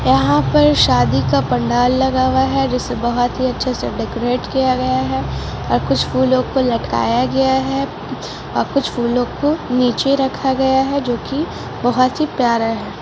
यहां पर शादी का पंडाल लगा हुआ है जिसे बहुत ही अच्छा सा डेकोरेट किया गया है और कुछ फूलों को लटकाया गया है और कुछ फूलों को नीचे रखा गया है जो की बहुत ही प्यारा है ।